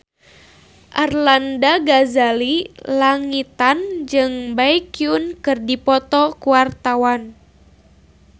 Arlanda Ghazali Langitan jeung Baekhyun keur dipoto ku wartawan